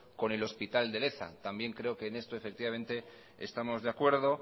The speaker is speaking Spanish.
con el hospital de leza también creo que en esto estamos de acuerdo